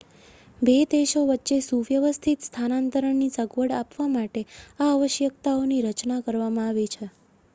બે દેશો વચ્ચે સુવ્યવસ્થિત સ્થાનાંતરણની સગવડ આપવા માટે આ આવશ્યકતાઓની રચના કરવામાં આવી છે